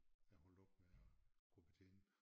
Er holdt op med at kunne betjene